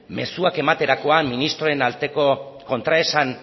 mezuak ematerakoan ministroen arteko kontraesan